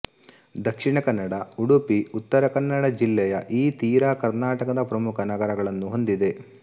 ದಕ್ಷಿಣಕನ್ನಡ ಉಡುಪಿ ಉತ್ತರಕನ್ನಡ ಜಿಲ್ಲೆಯ ಈ ತೀರ ಕರ್ನಾಟಕದ ಪ್ರಮುಖ ನಗರಗಳನ್ನು ಹೊಂದಿದೆ